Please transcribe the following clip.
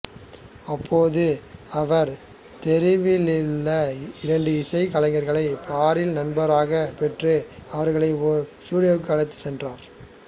அப்போது அவர் தெரிவிலுள்ள இரண்டு இசைக்கலைஞர்களை பாரில் நண்பராகப் பெற்று அவர்களை ஒரு ஸ்டுடியோவிற்கு அழைத்து சென்றார்